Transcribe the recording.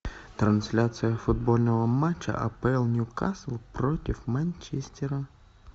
трансляция футбольного матча апл ньюкасл против манчестера